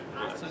Sən?